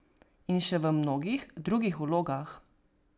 In še v mnogih drugih vlogah.